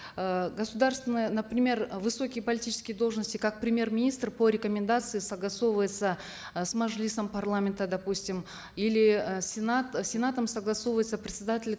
э государственное например э высокие политические должности как премьер министр по рекомендации согласовывается э с мажилисом парламента допустим или э сенат сенатом согласовывается председатель